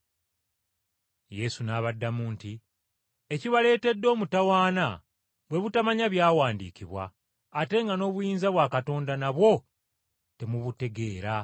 Yesu n’abaddamu nti, “Ekibaleetedde okukyama bwe butamanya byawandiikibwa, n’obutategeera maanyi ga Katonda.